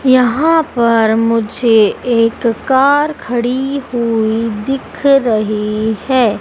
यहां पर मुझे एक कार खड़ी हुई दिख रही है।